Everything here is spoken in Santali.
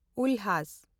ᱩᱞᱦᱟᱥ